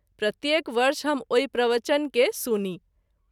प्रत्येक वर्ष हम ओहि प्रवचन के सुनी।